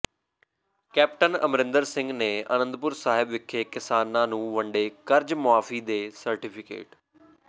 captain Amarinder Singh ਨੇ ਆਨੰਦਪੁਰ ਸਾਹਿਬ ਵਿਖੇ ਕਿਸਾਨਾਂ ਨੂੰ ਵੰਡੇ ਕਰਜ਼ ਮੁਆਫੀ ਦੇ ਸਰਟੀਫਿਕੇਟ